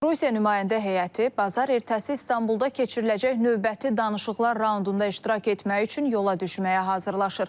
Rusiya nümayəndə heyəti bazar ertəsi İstanbulda keçiriləcək növbəti danışıqlar raundunda iştirak etmək üçün yola düşməyə hazırlaşır.